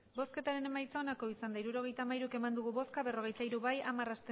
hirurogeita hamairu eman dugu bozka berrogeita hiru bai hamar